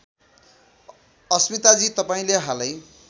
अस्मिताजी तपाईँले हालै